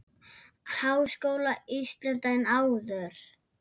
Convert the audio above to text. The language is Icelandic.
Háskóla Íslands en áður.